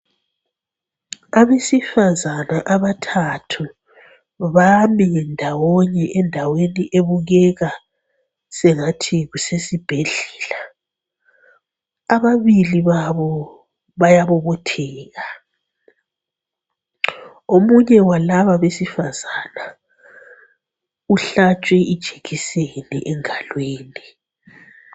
Abesifazane abathathu bami ndawonye endaweni ebukeka sengathi kusesibhedlela. Ababili babo bayabobotheka, omunye walaba besifazane uhlatshwe ijekiseni engalweni.